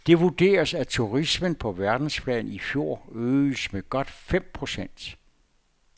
Det vurderes, at turismen på verdensplan i fjor øgedes med godt fem procent.